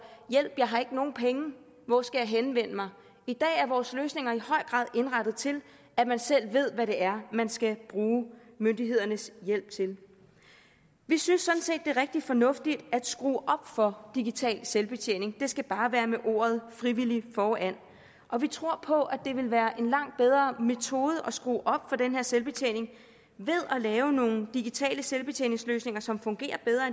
hjælp jeg har ikke nogen penge hvor skal jeg henvende mig i dag er vores løsninger i høj grad indrettet til at man selv ved hvad det er man skal bruge myndighedernes hjælp til vi synes sådan set det er rigtig fornuftigt at skrue op for digital selvbetjening det skal bare være med ordet frivillig foran og vi tror på at det vil være en langt bedre metode at skrue op for den her selvbetjening ved at lave nogle digitale selvbetjeningsløsninger som fungerer bedre